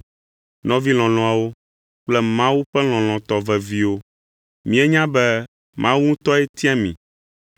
Nɔvi lɔlɔ̃awo kple Mawu ƒe lɔlɔ̃tɔ veviwo, míenya be Mawu ŋutɔe tia mi,